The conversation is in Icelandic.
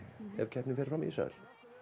ef keppnin fer fram í Ísrael